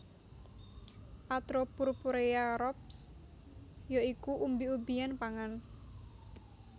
atropurpurea Roxb ya iku umbi umbian pangan